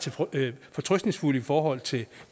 fortrøstningsfuld i forhold til